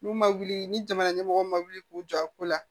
N'u ma wuli ni jamana ɲɛmɔgɔ ma wuli k'u jɔ a ko la